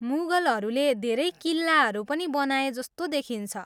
मुगलहरूले धेरै किल्लाहरू पनि बनाए जस्तो देखिन्छ।